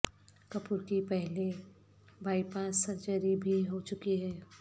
کپور کی پہلے bypass surgery بھی ہو چکی ہے